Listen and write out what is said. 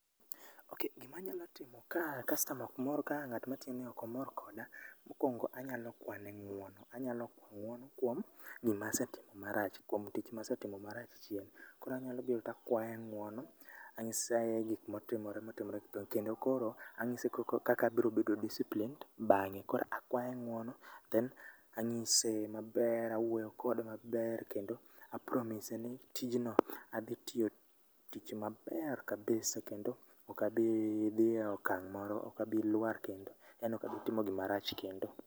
Okay gima anyalo timo ka customer okmor ka okomor koda, mokwongo anyalo kwane ng'wono anyalo kwa ng'wono kwom gima asetimo marach, kwom tich ma asetimo march chien. Koro anyalo biro takwaye ng'wono, ang'ise gik motimore motimore go kendo koro anyise koko kaka abiro bedo disciplined bang'e. Koro akwaye ng'wono then ang'ise maber, awuoyo kode maber kendo a promise ni tijno adhi tio tich maber kabisa kendo okabi dhie okang' moro okabi lwar kendo, yani okabi timo gima rach kendo.